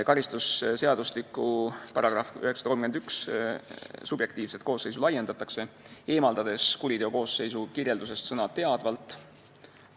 Karistusseadustiku § 931 subjektiivset koosseisu laiendatakse, eemaldades kuriteokoosseisu kirjeldusest sõna "teadvalt".